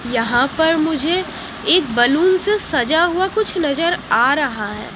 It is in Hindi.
यहां पर मुझे एक बलून से सजा हुआ कुछ नजर आ रहा है।